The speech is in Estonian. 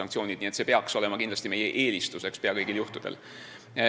Nii et see peaks olema kindlasti meie eelistus pea kõigil juhtudel.